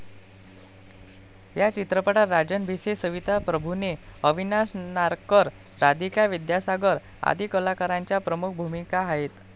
या चित्रपटात राजन भिसे, सविता प्रभूणे, अविनाश नारकर, राधिका विद्यासागर आदी कलाकारांच्या प्रमुख भूमिका आहेत.